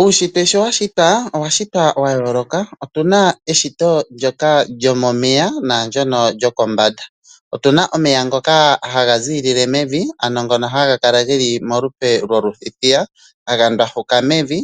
Uunshitwe sho wa shitwa owa shitwa wa yooloka. Opu na eshito ndyoka lyomomeya naandyoka lyokombanda. Otu na omeya ngoka haga ziilile mevi ano haga kala ge li molupe lwothithiya haga ndwafuka mevi